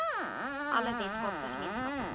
alle weskaapse gemeenskappe